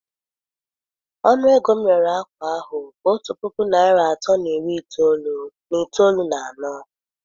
Ọnụ ego m rere ákwà ahụ bụ otu puku naịra atọ na iri itoolu na itoolu na anọ.